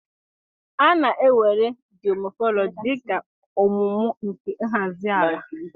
A na-éwèré geomorphology dị ka ọmụmụ nke nhazi àlà